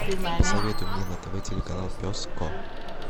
посоветуй мне на тв телеканал пес ко